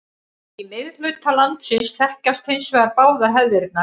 Í miðhluta landsins þekkjast hins vegar báðar hefðirnar.